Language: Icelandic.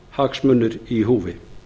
almannahagsmunir í húfi